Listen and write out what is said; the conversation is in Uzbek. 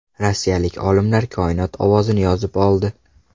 Rossiyalik olimlar Koinot ovozini yozib oldi.